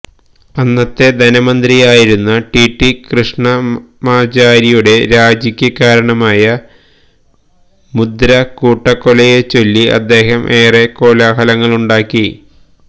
അന്നത്തെ ധനമന്ത്രിയായിരുന്ന ടിടി കൃഷ്ണമാചാരിയുടെ രാജിക്ക് കാരണമായ മുന്ദ്ര കൂട്ടക്കൊലയെച്ചൊല്ലി അദ്ദേഹം ഏറെ കോലാഹലങ്ങളുണ്ടാക്കി